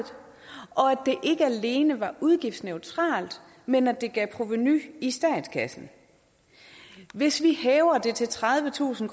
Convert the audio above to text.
og ikke alene var udgiftsneutralt men at det gav provenu i statskassen hvis vi hæver det til tredivetusind